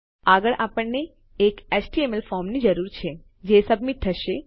આગળ આપણને એક એચટીએમએલ ફોર્મની જરૂર છે જે સબમીટ થશે